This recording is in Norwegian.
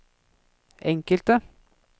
enkelte